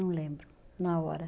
Não lembro, na hora.